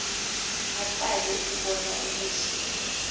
aqale ukubona ubuhle